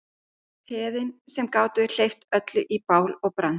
Peðin sem gátu hleypt öllu í bál og brand.